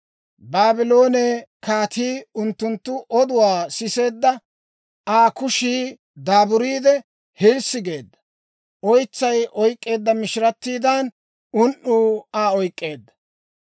«Baabloone kaatii unttunttu oduwaa siseedda; Aa kushii daaburiide, hilssi geedda; oytsay oyk'k'eedda mishirattiidan, un"uu Aa oyk'k'eedda.